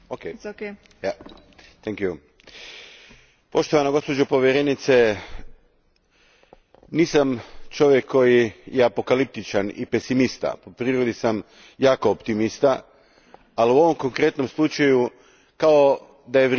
Gospođo predsjednice, poštovana gospođo povjerenice, nisam čovjek koji je apokaliptičan i pesimist. Po prirodi sam jako optimističan. Ali, u ovom konkretnom slučaju kao da je vrijeme isteklo.